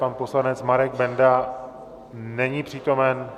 Pan poslanec Marek Benda není přítomen.